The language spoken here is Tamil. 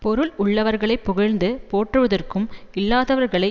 பொருள் உள்ளவர்களை புகழ்ந்து போற்றுவதும் இல்லாதவர்களை